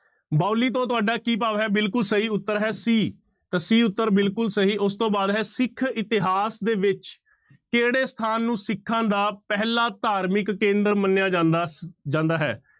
ਬਾਉਲੀ ਤੋਂ ਤੁਹਾਡਾ ਕੀ ਭਾਵ ਹੈ ਬਿਲਕੁਲ ਸਹੀ ਉੱਤਰ ਹੈ c ਤਾਂ c ਉੱਤਰ ਬਿਲਕੁਲ ਸਹੀ ਉਸ ਤੋਂ ਬਾਅਦ ਹੈ, ਸਿੱਖ ਇਤਿਹਾਸ ਦੇ ਵਿੱਚ ਕਿਹੜੇ ਸਥਾਨ ਨੂੰ ਸਿੱਖਾਂ ਦਾ ਪਹਿਲਾਂ ਧਾਰਮਿਕ ਕੇਂਦਰ ਮੰਨਿਆ ਜਾਂਦਾ ਜਾਂਦਾ ਹੈ।